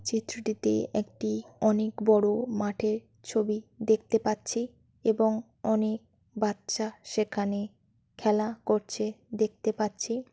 চিত্রটিতে একটি অনেক বড় মাঠের ছবি দেখতে পাচ্ছি এবং অনেক বাচ্চা সেখানে খেলা করছে দেখতে পাচ্ছি।